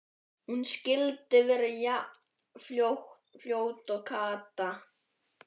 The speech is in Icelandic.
Hún skyldi verða jafn fljót og Kata!